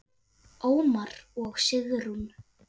Ómar og Sigrún.